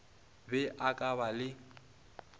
be a ka ba le